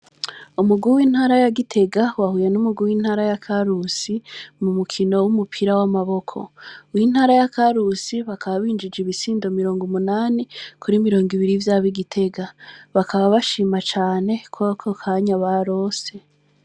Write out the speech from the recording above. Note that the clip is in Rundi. Umuguwe intara ya gitega wahuye n'umuguwe intara ya karusi mu mukino w'umupira w'amaboko w intara ya karusi bakabinjije ibisindo mirongo umunani kuri mirongo ibiri vyabo igitega bakaba bashima cane koako kanya barose.